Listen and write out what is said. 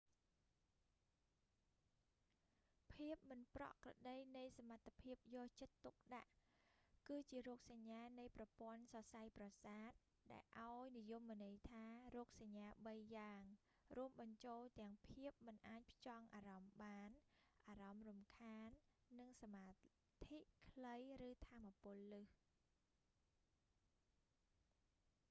ភាពមិនប្រក្រតីនៃសមត្ថភាពយកចិត្តទុកដាក់ attention deficit disorder គឺជារោគសញ្ញានៃប្រព័ន្ធសរសៃប្រសាទដែលអោយនិយមន័យតាមរោគសញ្ញា បី យ៉ាង រួមបញ្ចូលទាំង ភាពមិនអាចផ្ចង់អាម្មណ៍បាន អារម្មណ៍រំខាននិង សមាធិខ្លីឬថាមពលលើស